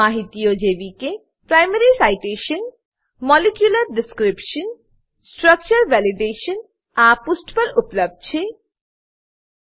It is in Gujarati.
માહિતીઓ જેવી કે primary citation primary citation molecular description અને molecular description structure validation structure validation આ પુષ્ઠ પર ઉપલબ્ધ છે